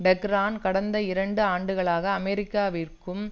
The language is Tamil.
டெஹ்ரான் கடந்த இரண்டு ஆண்டுகளாக அமெரிக்காவிற்கும்